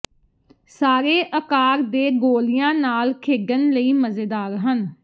ਸਾਰੇ ਅਕਾਰ ਦੇ ਗੋਲਿਆਂ ਨਾਲ ਖੇਡਣ ਲਈ ਮਜ਼ੇਦਾਰ ਹਨ